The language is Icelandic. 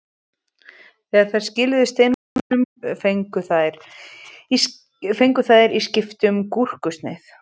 Þegar þær skiluðu steinvölunum fengu þær í skiptum gúrkusneið.